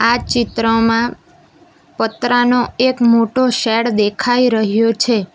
આ ચિત્રમાં પતરાનો એક મોટો શેડ દેખાઈ રહ્યો છે.